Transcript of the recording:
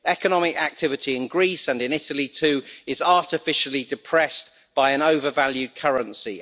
Economic activity in Greece, and in Italy too, is artificially depressed by an overvalued currency.